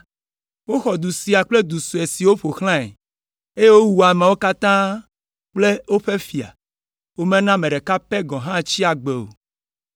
Woxɔ du sia kple du sue siwo ƒo xlãe, eye wowu ameawo katã kple woƒe fia; womena ame ɖeka pɛ gɔ̃ hã tsi agbe o.